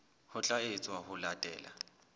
ho tla etswa ho latela